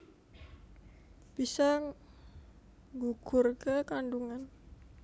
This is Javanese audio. Bisa nggugurké kandungan